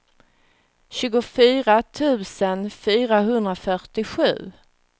tjugofyra tusen fyrahundrafyrtiosju